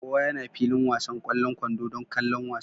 Kowa yana filin wasan kwallon kwando don kallon wasan